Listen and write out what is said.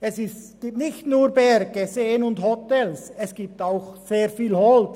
Es gibt nicht nur Berge, Seen und Hotels, es gibt auch sehr viel Holz.